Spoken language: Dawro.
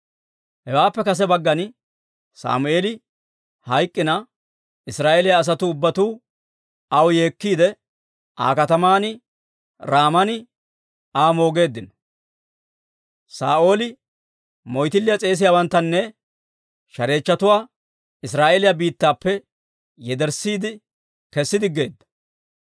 Hawaappe kase baggan Sammeeli hayk'k'ina, Israa'eeliyaa asatuu ubbatuu aw yeekkiide, Aa kataman Raaman Aa moogeeddino. Saa'ooli moyttiliyaa s'eesiyaawanttanne shareechchatuwaa Israa'eeliyaa biittappe yederssiide kessi diggeedda.